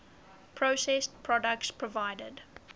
processed products provided